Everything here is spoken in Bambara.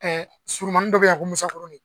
Surunmanin dɔ bɛ yan ko Musakurunin